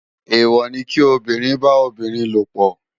Éwò ni ki óbìrín bá óbìrín lópò